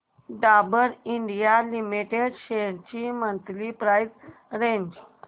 Dabur India limited shares ची monthly price range